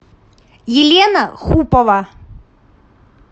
елена хупова